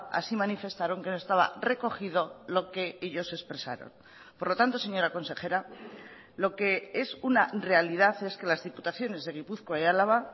así manifestaron que no estaba recogido lo que ellos expresaron por lo tanto señora consejera lo que es una realidad es que las diputaciones de gipuzkoa y álava